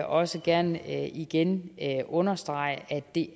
også gerne igen understrege at det